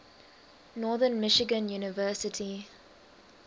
northern michigan university